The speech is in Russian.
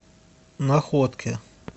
находке